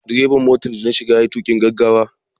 Direban motar da na shiga ya yi tuƙin gaggawa.